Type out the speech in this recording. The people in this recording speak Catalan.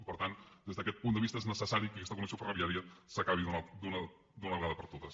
i per tant des d’aquest punt de vista és necessari que aquesta connexió ferroviària s’acabi d’una vegada per totes